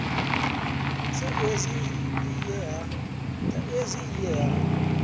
sa izwi i ye ha